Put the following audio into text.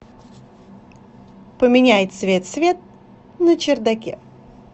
поменяй цвет свет на чердаке